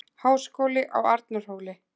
Háskóli á Arnarhóli.